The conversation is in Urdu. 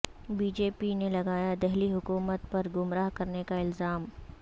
بی جے پی نے لگایا دہلی حکومت پر گمراہ کرنے کا الزام